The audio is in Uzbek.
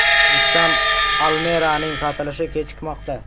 Nissan Almera’ning sotilishi kechikmoqda.